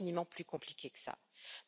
C'est infiniment plus compliqué que cela.